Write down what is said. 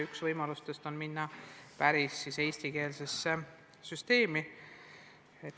Üks võimalus on minna üle päris eestikeelsele õppele.